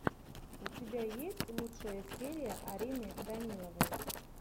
у тебя есть лучшая серия арины даниловой